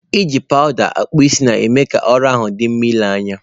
Iji powuda akpu isii, na eme ka oru ahu di nma ile anya.